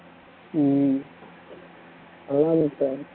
ஹம்